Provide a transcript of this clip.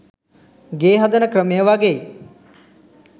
ගේ හදන ක්‍රමය වගෙයි.